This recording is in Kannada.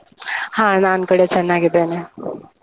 ಹಾ ನಾನ್ ಕೂಡಾ ಚೆನ್ನಾಗಿದ್ದೇನೆ. . ಊಟ ಆಯ್ತಾ?